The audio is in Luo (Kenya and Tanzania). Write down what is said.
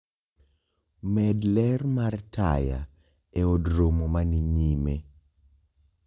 Med ler mar taya eod romo mani nyime